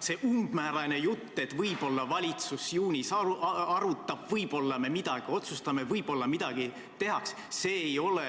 See umbmäärane jutt, et võib-olla valitsus juunis arutab, võib-olla me midagi otsustame, võib-olla midagi tehakse, ei ole